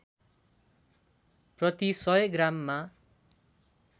प्रति १०० ग्राममा